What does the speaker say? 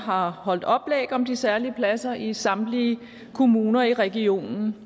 har holdt oplæg om de særlige pladser i samtlige kommuner i regionen